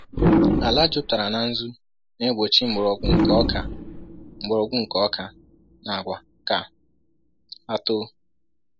Ala jupụtara na nzu na-egbochi mgbọrọgwụ nke oka mgbọrọgwụ nke oka na agwa ka ha too.